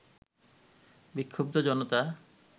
বিক্ষুব্ধ জনতা